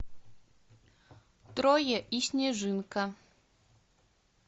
трое и снежинка